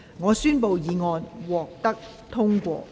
我宣布議案獲得通過。